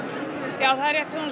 já það